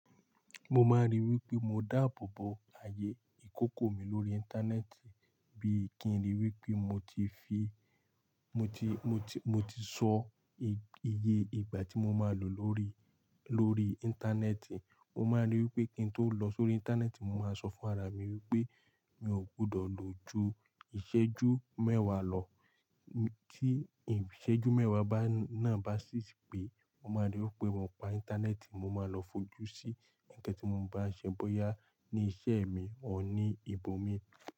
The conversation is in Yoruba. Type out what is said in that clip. Mo máa n rí i wípé mo dáàbò bo ayé akókó mi lórí. Íńtánẹ́ẹ̀tì. Bí i kí n ri wípé mo ti fi mo ti, mo ti, mo ti sọ iye ìgbà tí mo máa lò lórí, lórí. Íńtánẹ́ẹ̀tì. Mo máa rí i wípé kí ń tó lọ sórí íńtánẹ́ẹ̀tì, mo máa sọ fún ara mi wípé mi ò gbọdọ̀ lò ju ìṣẹ́jú mẹ́wàá lọ. Tí ìṣẹ́jú mẹ́wàá náà bá ṣí pé, mo máa rí i wípé mo pa íńtánẹ́ẹ̀tì, mo máa lọ fojú sí ǹkan tí mo ń bá ṣe bóyá ní iṣẹ́ mi ò ní ibòmí.